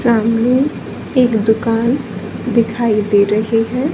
सामने एक दुकान दिखाई दे रही है।